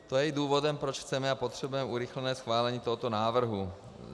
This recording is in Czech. To je i důvodem, proč chceme a potřebujeme urychlené schválení tohoto návrhu.